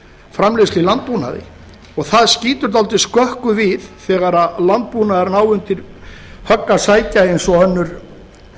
framleiðslu í landbúnaði og það skýtur dálítið skökku við þegar landbúnaðurinn á undir högg að sækja eins